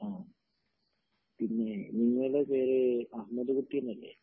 ആ പിന്നെ ഇങ്ങളെ പേര് അഹമ്മദ് കുട്ടി എന്നല്ലേ